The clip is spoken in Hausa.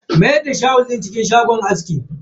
Mayar da shawul din cikin shagon askin.